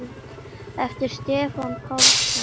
eftir Stefán Pálsson